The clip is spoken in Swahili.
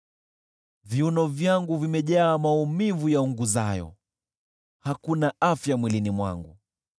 Viuno vyangu vimejaa maumivu yaunguzayo, hakuna afya mwilini mwangu.